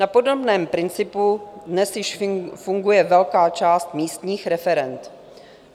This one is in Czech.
Na podobném principu dnes již funguje velká část místních referend.